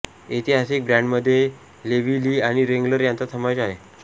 ऐतिहासिक ब्रॅंडमध्ये Levi Lee आणि रेंगलर यांचा समावेश आहे